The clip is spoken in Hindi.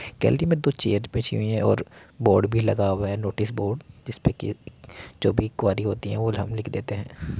गैलरी मे दो चेयर बीछी हुईं है और बोर्ड भी लगा हुआ है | नोटिस बोर्ड जिसपे की जो भी क़्वेरी होती है वो हम लिख देते है ।